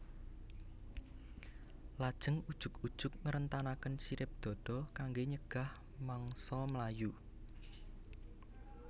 Lajeng ujug ujug ngrentangaken sirip dada kanggé nyegah mangsa mlayu